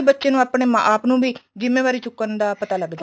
ਬੱਚੇ ਨੂੰ ਆਪਣੇ ਆਪ ਨੂੰ ਵੀ ਜਿੰਮੇਵਾਰੀ ਚੁੱਕਣ ਦਾ ਪਤਾ ਲੱਗ ਜਾਂਦਾ